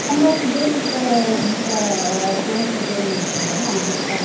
ଜୋଇଁ ସହ ଯାଇଥିଲେ ନା